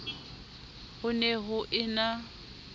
ho ne ho e na